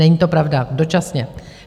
Není to pravda, dočasně.